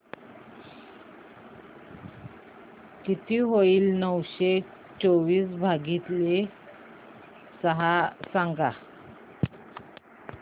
किती होईल नऊशे चोवीस भागीले सहा सांगा